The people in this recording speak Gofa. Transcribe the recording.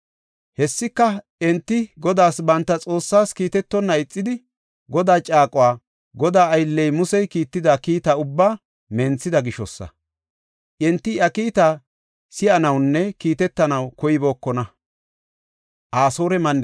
Hessika enti Godaas banta Xoossaas kiitetonna ixidi, Godaa caaquwa, Godaa aylley, Musey kiitida kiita ubbaa menthida gishosa. Enti iya kiita si7anawunne kiitetanaw koybookona.